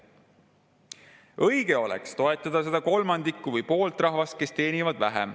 Õige oleks ikka toetada seda kolmandikku või poolt rahvast, kes teenivad vähem.